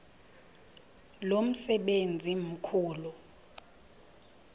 lo msebenzi mkhulu